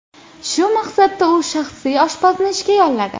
Shu maqsadda u shaxsiy oshpazni ishga yolladi .